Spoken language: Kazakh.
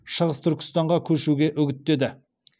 шығыс түркістанға көшуге үгіттеді